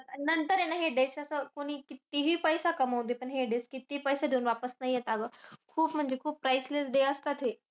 अन नंतर आहे ना हे days च असं कोणी कितीही पैसे कमावुदे. पण हे days कितीही पैसे देऊन नाही येत अगं. खूप म्हणजे खूप priceless days असतात हे.